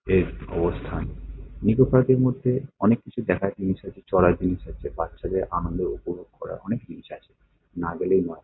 এর অবস্থান। নিকো পার্ক -এর মধ্যে অনেক কিছু দেখার জিনিস আছে। চড়ার জিনিস আছে। বাচ্চাদের আনন্দ উপভোগ করার অনেক জিনিস আছে। না গেলেই নয় ।